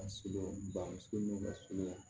A sogo bannen ka surunya